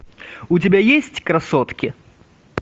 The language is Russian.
у тебя есть красотки